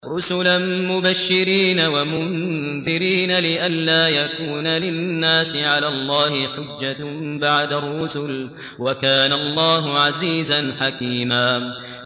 رُّسُلًا مُّبَشِّرِينَ وَمُنذِرِينَ لِئَلَّا يَكُونَ لِلنَّاسِ عَلَى اللَّهِ حُجَّةٌ بَعْدَ الرُّسُلِ ۚ وَكَانَ اللَّهُ عَزِيزًا حَكِيمًا